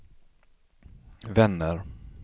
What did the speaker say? vänner